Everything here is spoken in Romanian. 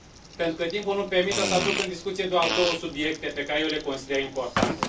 Pentru că timpul nu îmi permite, o să aduc în discuție doar două subiecte, pe care eu le consider importante.